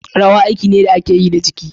Rawa aiki ne da ake yi da jiki.